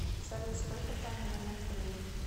салют сколько в данный момент времени